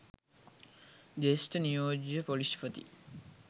ජ්‍යෙෂ්ඨ නියෝජ්‍ය ‍පොලිස්පති